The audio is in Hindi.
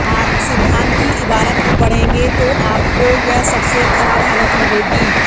आर्थिक सिद्घांत की इबारत पढ़ेंगे तो आपको यह सबसे खराब हालत लगेगी